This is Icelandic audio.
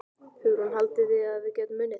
Hugrún: Haldið þið að við getum unnið?